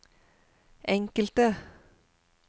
enkelte